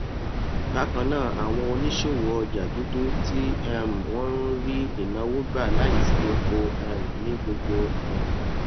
bákan náà àwọn oníṣòwò ọjà dúdú tí um wọn ń rí ìnáwó gbà láìsí epo um ní gbogbo um